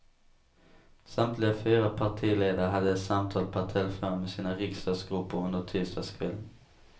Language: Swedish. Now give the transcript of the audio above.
Samtliga fyra partiledare hade samtal per telefon med sina riksdagsgrupper under tisdagskvällen.